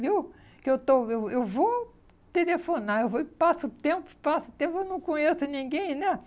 viu? Que eu estou, eu eu vou telefonar, eu vou e passo o tempo, passo o tempo, eu não conheço ninguém, né?